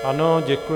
Ano, děkuji.